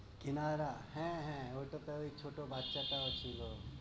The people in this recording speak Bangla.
চিনারা হ্যাঁ হ্যাঁ, ঐ টা তো ঐ ছোট বাচ্চাটাও ছিলো।